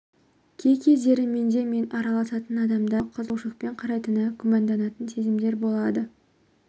кей кездері менде мен араласатын адамдар шынымен-ақ менің айтқандарыма қызығушылықпен қарайтынына күмәнданатын сезімдер болады